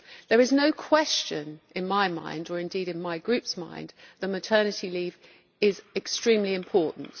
There is no question in my mind, or indeed in my Group's mind, that maternity leave is extremely important.